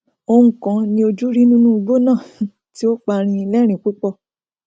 oun kan ni ojú rí nínú igbó náà tí ó pani lẹrìín púpọ